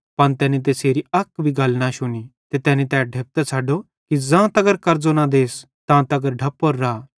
पन तैनी तैसेरी अक गल भी न शुनी ते तैनी तै ढेपतां छ़ड्डो कि ज़ां तगर कर्ज़ो न देस तां तगर ढप्पोरो रा